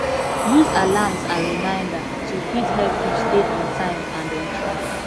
use alarms and reminder to fit help you stay on time and on track